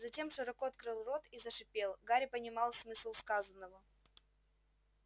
затем широко открыл рот и зашипел гарри понимал смысл сказанного